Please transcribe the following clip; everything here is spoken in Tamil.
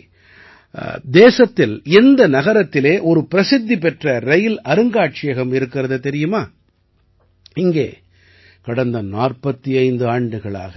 சரி தேசத்தில் எந்த நகரத்திலே ஒரு பிரசித்தி பெற்ற ரயில் அருங்காட்சியகம் இருக்கிறது தெரியுமா இங்கே கடந்த 45 ஆண்டுகளாக